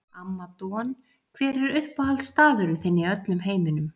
Amma Don Hver er uppáhaldsstaðurinn þinn í öllum heiminum?